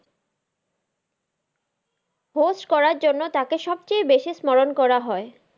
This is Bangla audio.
Host করার জন্য তাকে সবচেয়ে বেশি স্মরন করা হয়।